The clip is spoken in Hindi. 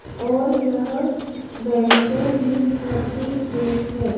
और यह बेंचे भी रखी गई है।